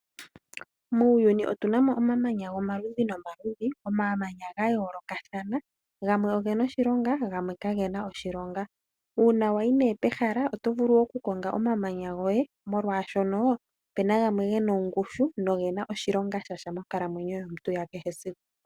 Muuyuni otuna mo omamanya gomaludhi nomaludhi omamanya ga yoolokathana, gamwe ogena oshilonga gamwe kagena oshilonga. Uuna wayi pehala oto vulu okukonga omamanya goye molwaashono opuna gamwe gena ongushu nogena oshilonga shasha monkalamwenyo yomuntu ya kehe esiku.